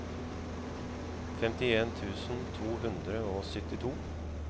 femtien tusen to hundre og syttito